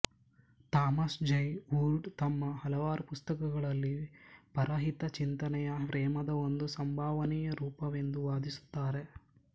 Thomas Jay Oord ತಮ್ಮ ಹಲವಾರು ಪುಸ್ತಕಗಳಲ್ಲಿ ಪರಹಿತಚಿಂತನೆಯು ಪ್ರೇಮದ ಒಂದು ಸಂಭವನೀಯ ರೂಪವೆಂದು ವಾದಿಸುತ್ತಾರೆ